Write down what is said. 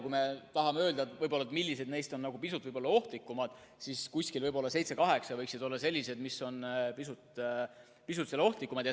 Kui me tahame öelda, millised neist on võib-olla pisut ohtlikumad, siis seitse-kaheksa võiksid olla sellised, mis on pisut ohtlikumad.